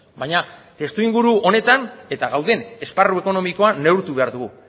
baina testuinguru honetan eta gauden esparru ekonomikoa neurtu behar dugu